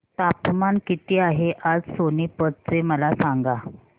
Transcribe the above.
तापमान किती आहे आज सोनीपत चे मला सांगा